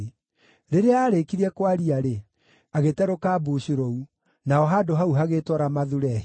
Rĩrĩa aarĩkirie kwaria-rĩ, agĩte rũkambucu rũu; naho handũ hau hagĩĩtwo Ramathu-Lehi.